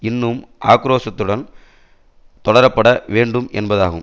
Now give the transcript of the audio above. இன்னும் ஆக்கிரோசத்துடன் தொடரப்பட வேண்டும் என்பதாகும்